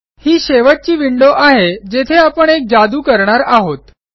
ही शेवटची विंडो आहे जेथे आपण एक जादू करणार आहोत